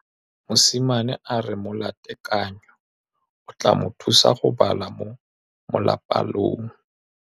Mosimane a re molatekanyô o tla mo thusa go bala mo molapalong.